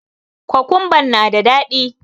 Kokumban na da daɗi.